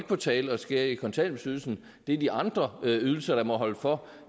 på tale at skære i kontanthjælpsydelsen det er de andre ydelser der må holde for